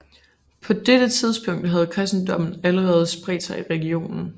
På dette tidspunkt havde kristendommen allerede spredt sig i regionen